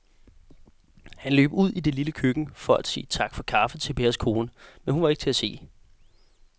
Han løb ud i det lille køkken for at sige tak for kaffe til Pers kone, men hun var ikke til at se.